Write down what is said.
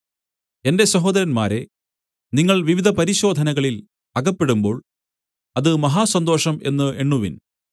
എന്റെ സഹോദരന്മാരേ നിങ്ങൾ വിവിധ പരിശോധനകളിൽ അകപ്പെടുമ്പോൾ അത് മഹാസന്തോഷം എന്ന് എണ്ണുവിൻ